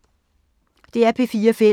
DR P4 Fælles